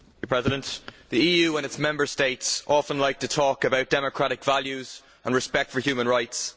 Mr President, the EU and its Member States often like to talk about democratic values and respect for human rights.